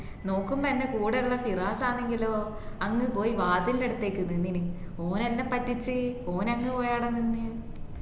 നോക്കുമ്പോ എന്റെ കൂടെ ഉള്ള ഫിറാസാണെങ്കിലോ അങ്ങ് പോയി വാതിലിന്നടുത്തേക്ക് നിന്നിന് ഓൻ എന്ന പറ്റിച് ഓൺ അങ്ങ് പോയി ആട നിന്ന്